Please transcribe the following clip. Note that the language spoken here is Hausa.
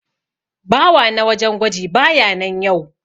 Bawa na wajen gwaji baya nan yau.